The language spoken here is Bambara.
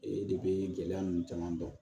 Ee de bee gɛlɛya nunnu caman dɔn